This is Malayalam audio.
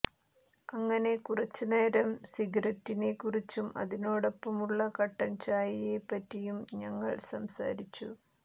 അങ്ങനെ കുറച്ച്നേരം സിഗററ്റിനെ കുറിച്ചും അതിനോടൊപ്പമുള്ള കട്ടൻ ചായയെ പറ്റിയും ഞങ്ങൾ സംസാരിച്ചു